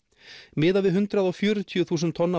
miðað við hundrað og fjörutíu þúsund tonna